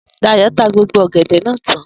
Dayo ta gbogbo ọ̀gẹ̀dẹ̀ náà tán